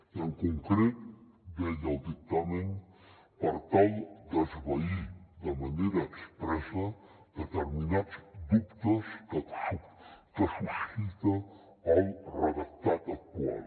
i en concret deia el dictamen per tal d’esvair de manera expressa determinats dubtes que suscita el redactat actual